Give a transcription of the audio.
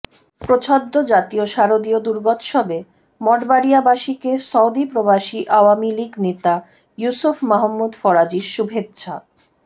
প্রচ্ছদ জাতীয় শারদীয় দূর্গোৎসবে মঠবাড়িয়াবাসিকে সৌদি প্রবাসি আওয়ামীলীগ নেতা ইউসুফ মাহমুদ ফরাজির শুভেচ্ছা